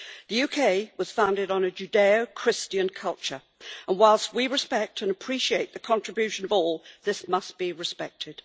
The UK was founded on a Judaeo Christian culture and whilst we respect and appreciate the contribution of all, this must be respected.